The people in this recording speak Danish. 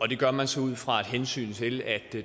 det gør man så ud fra et hensyn til at